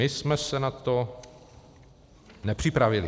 My jsme se na to nepřipravili.